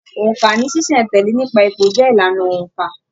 Óńka ní ṣiṣẹ̀-n-tẹle nípa ipò jẹ ìlànà óńka.